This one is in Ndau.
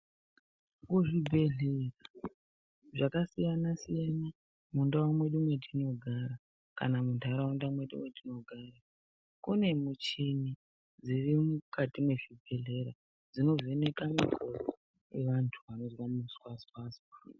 Kuzvibhedhlera zvakasiyana siyana, mundau medu matinogara kana mundaraunda medu matinogara, kune michini dziri mukati mezvibhedhlera dzinovheneka misoro yevantu vanozwa muzwawazi.